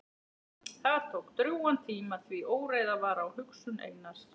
Það tók drjúgan tíma því óreiða var á hugsun Einars.